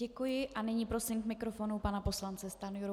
Děkuji a nyní prosím k mikrofonu pana poslance Stanjuru.